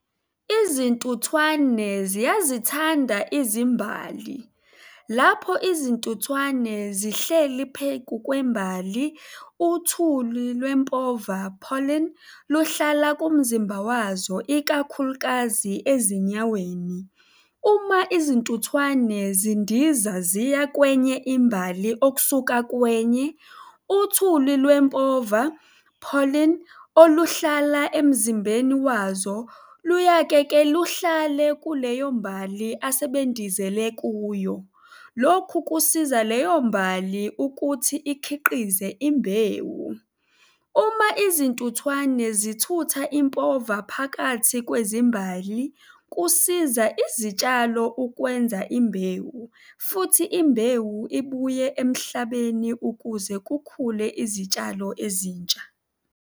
Izintuthwane ziyazithanda izimbali. Lapho izintuthwane zihleli pheku kwembali, uthuli lwempova, pollen, luhlala kumzimba wazo, ikakhulukazi ezinyaweni. Uma izintuthwane zindiza ziya kwenye imbali okusuka kwenye, uthuli lwempova, pollen, oluhlala emzimbeni wazo luyake-ke luhlale kuleyo mbali asebendizele kuyo. Lokhu kusiza leyo mbali ukuthi ikhiqize imbewu. Uma izintuthwane zithutha impova phakathi kwezimbali kusiza izitshalo ukwenza imbewu futhi imbewu ibuye emhlabeni ukuze kukhule izitshalo ezintsha.